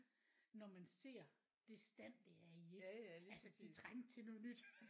Når man ser det stand det er i ikke? Altså det trængte til noget nyt